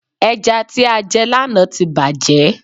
Ẹja tí a jẹ lànà tí bàjé